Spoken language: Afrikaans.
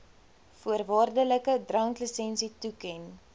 voorwaardelike dranklisensie toeken